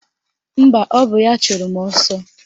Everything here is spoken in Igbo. Mba, ọ bụ ya chụrụ mụ ọsọ